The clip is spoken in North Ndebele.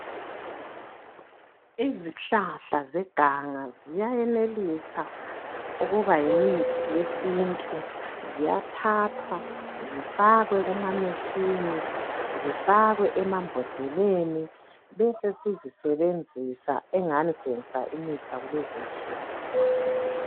Izihlahla zeganga ziyayenelisa ukuba yimithi yesintu ziyathathwa zifakwe kuma "machine" zifakwe emambhodleleni bese sizisebenzisa engani sisebenza imithi yakulezi nsuku.